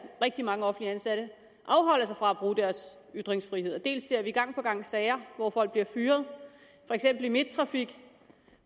rigtig mange offentligt ansatte afholder sig fra at bruge deres ytringsfrihed dels ser vi gang på gang sager hvor folk bliver fyret for eksempel i midttrafik